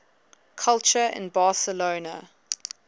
culture in barcelona